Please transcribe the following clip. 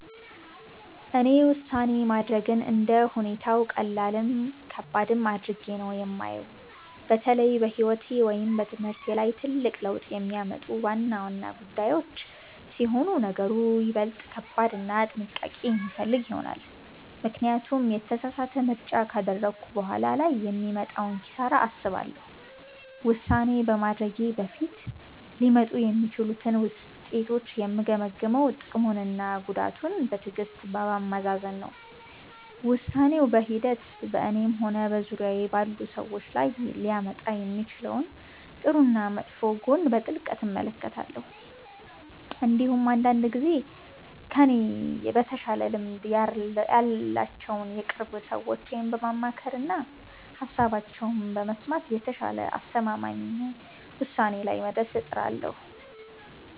እኔ ውሳኔ ማድረግን እንደ ሁኔታው ቀላልም ከባድም አድርጌ ነው የማየው። በተለይ በሕይወቴ ወይም በትምህርቴ ላይ ትልቅ ለውጥ የሚያመጡ ዋና ዋና ጉዳዮች ሲሆኑ ነገሩ ይበልጥ ከባድና ጥንቃቄ የሚፈልግ ይሆናል፤ ምክንያቱም የተሳሳተ ምርጫ ካደረግኩ በኋላ ላይ የሚመጣውን ኪሳራ አስባለሁ። ውሳኔ ከማድረጌ በፊት ሊመጡ የሚችሉትን ውጤቶች የምገመግመው ጥቅሙንና ጉዳቱን በትዕግሥት በማመዛዘን ነው። ውሳኔው በሂደት በእኔም ሆነ በዙሪያዬ ባሉ ሰዎች ላይ ሊያመጣ የሚችለውን ጥሩና መጥፎ ጎን በጥልቀት እመለከታለሁ። እንዲሁም አንዳንድ ጊዜ ከእኔ በተሻለ ልምድ ያላቸውን የቅርብ ሰዎቼን በማማከርና ሃሳባቸውን በመስማት የተሻለና አስተማማኝ ውሳኔ ላይ ለመድረስ እጥራለሁ።